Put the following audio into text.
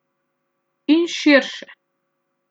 In širše.